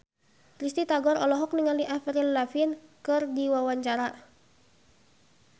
Risty Tagor olohok ningali Avril Lavigne keur diwawancara